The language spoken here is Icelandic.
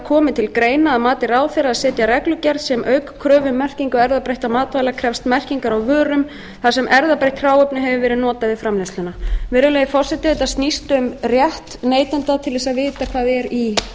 komi að mati ráðherra að setja reglugerð sem auk kröfu um merkingu erfðabreyttra matvæla krefst merkingar á vörum þar sem erfðabreytt hráefni hefur verið notað við framleiðsluna virðulegi forseti þetta snýst um rétt neytanda til þess að vita hvað er í